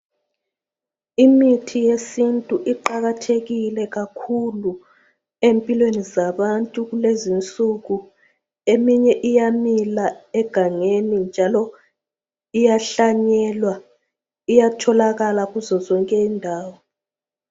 Imithi yesintu iqakathekile kakhulu empilweni zabantu kulezinsuku. Eminye iyamila egangeni njalo iyahlanyelwa iyatholakala kuzo zonke indawo.